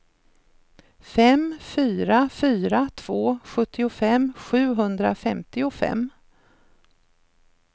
fem fyra fyra två sjuttiofem sjuhundrafemtiofem